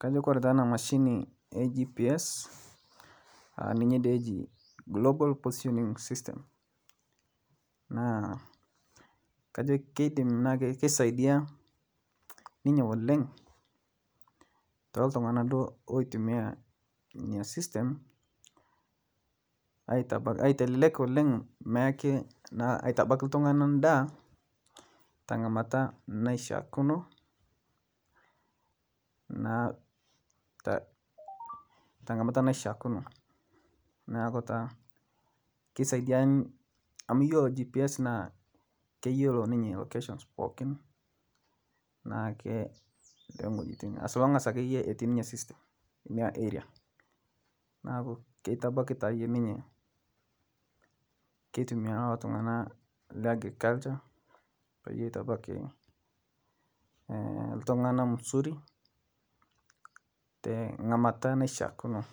Kajo ore taa ena mashini ee GPS ninye dee ejii global positioning system naa kajo keidim naa ake keisaidia ninye oleng' tooiltong'anak duo oitumia ina system aitelelek oleng' naake aitabaki ltung'anak endaa teng'amata naishaakino naa teng'amata naishaakino neeku taa kesaidia amu iyolo GPS naa keyiolo ninye occasions pookin naa ketumi, naa keitabaki taayie ketumia iltung'anak peyiitabaki musuri teng'amata naishaakino,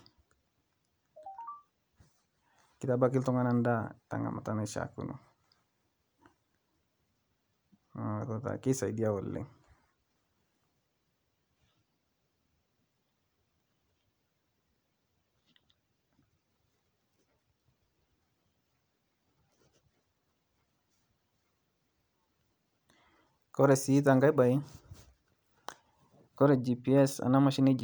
kitabaki iltung'anak endaa teng'amata naishaakino naa keisaidia oleng',oree sii tenkae baye oree ena mashini naji GPS naa kesidai oleng'.